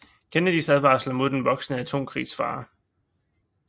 Kennedys advarsler mod den voksende atomkrigsfare